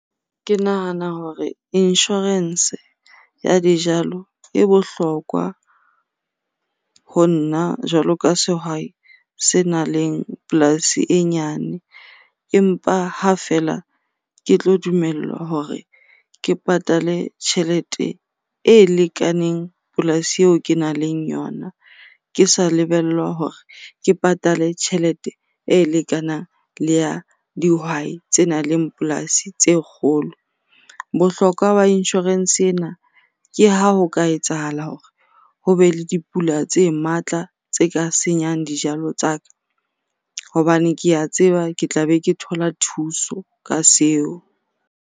Ke nahana hore insurance ya dijalo e bohlokwa ho nna jwalo ka sehwai senang le polasi e nyane. Empa ha fela ke tlo dumellwa hore ke patale tjhelete e lekaneng polasi eo kenang le yona, ke sa lebellwa hore ke patale tjhelete e lekanang le ya dihwai tse nang le polasi tse kgolo. Bohlokwa ba insurance ena ke ha ho ka etsahala hore ho be le dipula tse matla tse ka senyang dijalo tsa ka. Hobane ke a tseba ke tla be ke thola thuso ka seo.